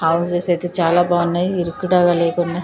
Houses అయితే చాలా బాగున్నాయి. ఇరుకుటాల లేకుండా --